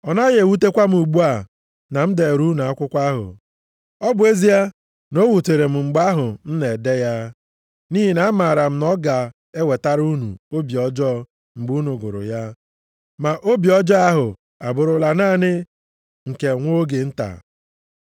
Ọ naghị ewutekwa m ugbu a na m deere unu akwụkwọ ahụ, ọ bụ ezie na o wutere m mgbe ahụ m na-ede ya, nʼihi na amaara m na ọ ga-ewetara unu obi ọjọọ mgbe unu gụrụ ya. Ma obi ọjọọ ahụ abụrụla naanị nke nwa oge nta.